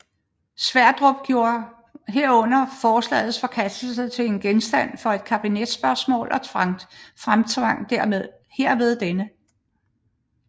Sverdrup gjorde herunder forslagets forkastelse til genstand for et kabinetsspørgsmål og fremtvang herved denne